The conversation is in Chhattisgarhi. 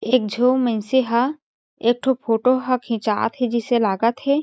एक झो मइ नसे ह एक ठो फोटो हा खिचात हे जिसे लागत हे।